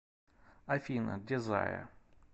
афина дезайр